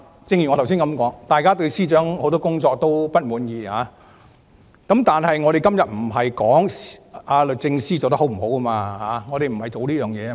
正如我剛才所說，大家對司長很多工作不滿意，但我們今天不是討論律政司司長工作是否稱職。